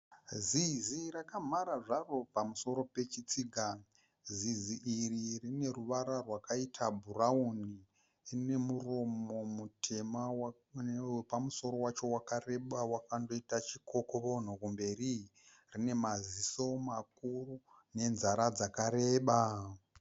Zizi rakamhara zvaro pausoro pechitsiga. Zizi iri rine ruvara rwakaita bhurawuni. Rine muromo mutema newepamuso wacho wakandoita chikokovonho kumberi. Rine maziso makuru nenzara dzakareba.